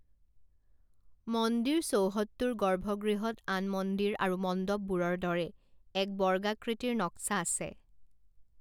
মন্দিৰ চৌহদটোৰ গৰ্ভগৃহত আন মন্দিৰ আৰু মণ্ডপবোৰৰ দৰে এক বৰ্গাকৃতিৰ নক্সা আছে।